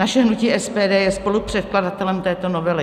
Naše hnutí SPD je spolupředkladatelem této novely.